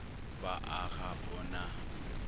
ba a ga o na